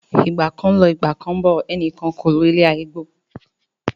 Ìgbà kan ń lọ, Ìgbà kán ń bọ̀, ẹnìkan ò lo ilé ayé gbó.